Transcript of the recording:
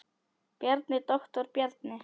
Bjarni, doktor Bjarni.